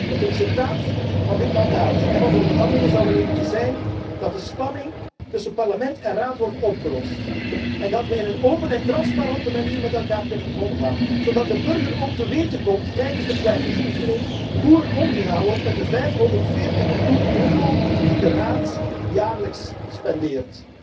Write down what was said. Het resultaat van dit mandaat en van de onderhandelingen zou moeten zijn dat de spanning tussen Parlement en Raad wordt opgelost en dat we in een open en transparante manier met elkaar kunnen omgaan, zodat de burger ook te weten komt tijdens de kwijtingsoefening hoe er omgegaan wordt met de 540 miljoen euro die de Raad jaarlijks spendeert.